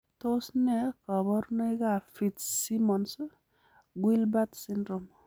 Tos neee koborunoikab Fitzsimmons Guilbert syndrome?